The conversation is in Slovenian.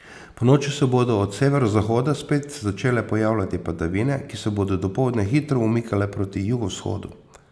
Ponoči se bodo od severozahoda spet začele pojavljati padavine, ki se bodo dopoldne hitro umikale proti jugovzhodu.